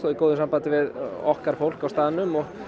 í góðu sambandi við okkar fólk á staðnum og